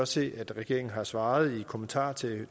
se at regeringen har svaret i kommentaren til